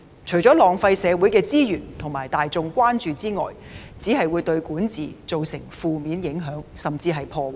除了浪費社會資源和大眾關注外，只會對管治造成負面影響甚至破壞。